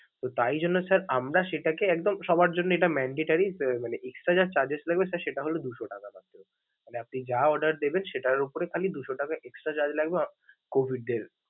তো তাই জন্য sir আমরা সেটাকে একদম সবার জন্য এটা mandatory মানে extra যে charges লাগবে সেটা হলো দু'শ টাকা. আপনি যা order দিবেন, সেটার উপ খালি দু'শ টাকা extra charge লাগবে COVID দের।